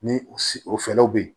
Ni u si o fɛrɛw bɛ yen